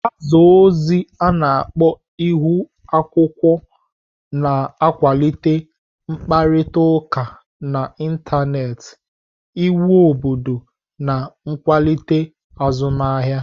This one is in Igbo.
Gbaza ozi a-na akpo Ihu-akwukwuo na-akwalite ịkparịta ụka n'Ịntanet, íwu obodo na nkwalite azụmahịa.